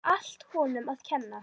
Það væri allt honum að kenna.